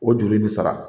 O joli in bɛ sara